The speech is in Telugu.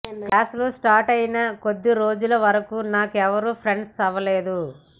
క్లాసులు స్టార్ట్ అయిన కొద్ది రోజుల వరకు నాకెవరూ ఫ్రెండ్స్ అవ్వలేదు